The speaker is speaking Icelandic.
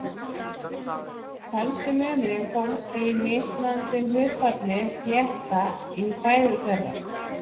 Helsti munurinn fólst í mismunandi hlutfalli flétta í fæðu þeirra.